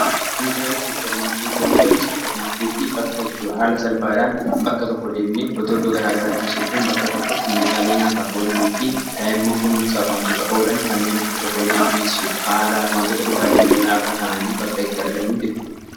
Meeshaale suppermaarkeetii: Meshaleen suppermaarkeetii bakka itti haala salphaadhaan bakka tokko deemne iddoo garaa garatti in sochoonee bakka tokkotti meeshaalee nyaataaf oolanii fi daa'imman kunuunsuuf wantoota oolan kanneen akka chokkoleetii, sukkaaraa, wantoota dhugaatii lallaafaa ta'anii bakka itti argannuu jechuudha.